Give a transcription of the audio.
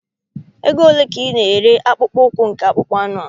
Oge ole ka ị na-ere akpụkpọ ụkwụ nke akpụkpọ anụ?